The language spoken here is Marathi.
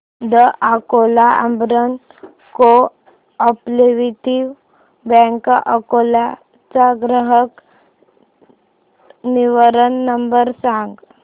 the Akola Urban Cooperative Bank Akola चा ग्राहक निवारण नंबर सांग